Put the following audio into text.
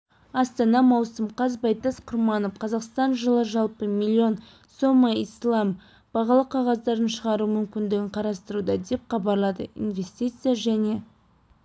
астана маусым қаз байтас құрманов қазақстан жылы жалпы миллион сома ислам бағалы қағаздарын шығару мүмкіндігін қарастыруда деп хабарлады инвестиция және